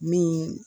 Min